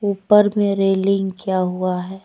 ऊपर में रेलिंग किया हुआ है।